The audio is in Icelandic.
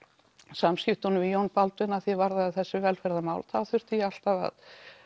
samskiptum við Jón Baldvin að því er varðaði þessi velferðarmál þá þurfti ég alltaf að